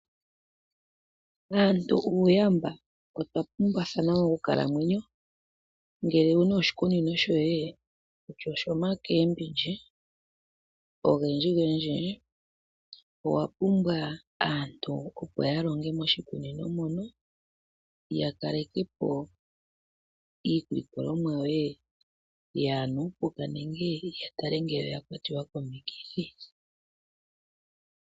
Aantu uuyamba. Otwa pumbwathana monkalamwenyo. Ngele owu na oshikunino shoye kutya oshoomboga odhindjidhindji, owa pumbwa aantu, opo ya longe moshikunino mono. Ya kaleke po iilikolomwa yoye yaa na uupuka nenge ya tale ngele oya kwatwa komikithi.